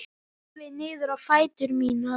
Horfi niður á fætur mína.